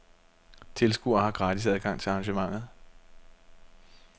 Tilskuere har gratis adgang til arrangementet.